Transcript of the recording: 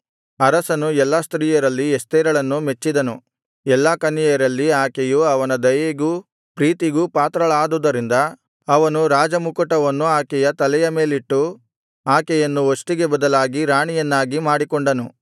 ಅರಸನು ಎಲ್ಲಾ ಸ್ತ್ರೀಯರಲ್ಲಿ ಎಸ್ತೇರಳನ್ನು ಮೆಚ್ಚಿದನು ಎಲ್ಲಾ ಕನ್ಯೆಯರಲ್ಲಿ ಆಕೆಯು ಅವನ ದಯೆಗೂ ಪ್ರೀತಿಗೂ ಪಾತ್ರಳಾದುದರಿಂದ ಅವನು ರಾಜ ಮುಕುಟವನ್ನು ಆಕೆಯ ತಲೆಯ ಮೇಲಿಟ್ಟು ಆಕೆಯನ್ನು ವಷ್ಟಿಗೆ ಬದಲಾಗಿ ರಾಣಿಯನ್ನಾಗಿ ಮಾಡಿಕೊಂಡನು